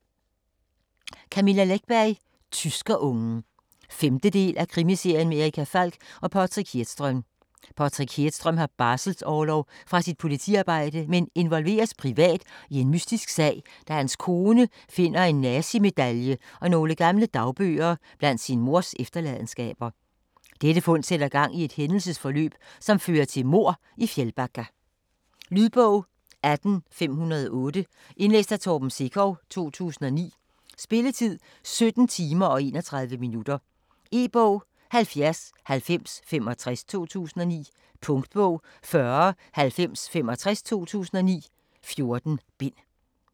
Läckberg, Camilla: Tyskerungen 5. del af Krimiserien med Erica Falck og Patrik Hedström. Patrick Hedström har barselsorlov fra sit politiarbejde, men involveres privat i en mystisk sag, da hans kone finder en nazimedalje og nogle gamle dagbøger blandt sin mors efterladenskaber. Dette fund sætter gang i et hændelsesforløb, som fører til mord i Fjällbacka. Lydbog 18508 Indlæst af Torben Sekov, 2009. Spilletid: 17 timer, 31 minutter. E-bog 709065 2009. Punktbog 409065 2009. 14 bind.